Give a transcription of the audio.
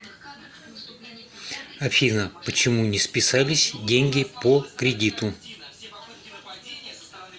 афина почему не списались деньги по кредиту